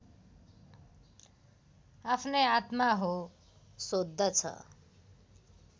आफ्नै आत्मा हो सोद्धछ